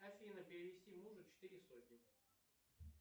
афина перевести мужу четыре сотни